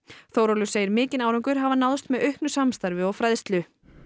Þórólfur segir mikinn árangur hafa náðst með auknu samstarfi og fræðslu